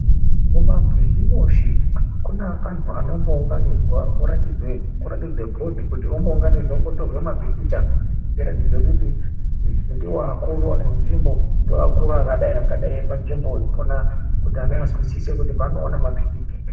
Mumabhizimusi kune antu anenga aunganidzwa kuratidze kuràtidze bhodhi ombotorwe mapikicha kuratidze kuti ndiwo akuru enzvimbo ndiwo akuru akadai akadai epanzvimbo ipona kuti ana azwisise kuti paanoone mapikicha.